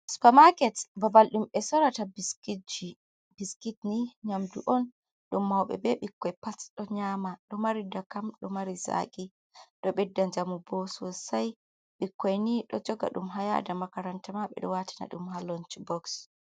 Supermaket babal ɗum ɓe sorata biskitji, ɓiskit ni nyamdu on ɗum mauɓe be ɓikkoi pats ɗo nyama ɗo mari da kam ɗo mari zaki ɗo ɓedda jamu bo sosai, ɓikkoi ni ɗo joga ɗum ha yada makaranta ma ɓeɗo watina ɗum ha lonch boks.